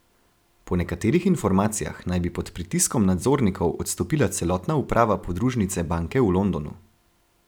Po nekaterih informacijah naj bi pod pritiskom nadzornikov odstopila celotna uprava podružnice banke v Londonu.